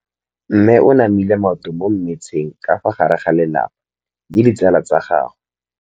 Mme o namile maoto mo mmetseng ka fa gare ga lelapa le ditsala tsa gagwe.